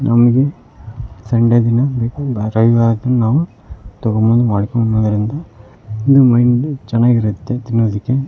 ನಮಗೆ ಸಂಡೆ ದಿನ ನಾವು ತಗೊಂಡ್ ಬಂದ್ ಮಾಡ್ಕೊಣೋದ್ರಿಂದ ಇದು ಮೈಂಡು ಚೆನಾಗಿರುತ್ತೆ ತಿನ್ನೋದಿಕ್ಕೆ.